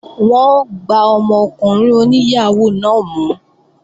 Wọ́n ó gbá ọmọkùnrin oní yàhóó náà mú